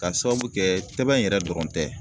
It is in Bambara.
K'a sababu kɛ tɛbɛn yɛrɛ dɔrɔn tɛ